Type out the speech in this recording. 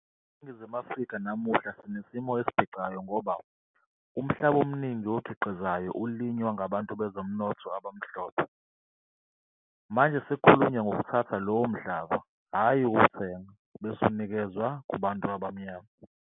ENingizimu Afrika namuhla sinesimo esiphicayo ngoba umhlaba omningi okhiqizayo ulinywa ngabantu bezomnotho abamhlophe. Manje sekukhulunywa ngokuthatha lowo mhlaba, hhayi ukuwuthenga, bese unikezwe kubantu abamnyama.